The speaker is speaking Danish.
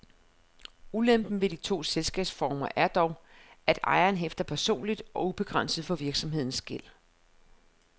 Ulempen ved de to selskabsformer er dog, at ejeren hæfter personligt og ubegrænset for virksomhedens gæld.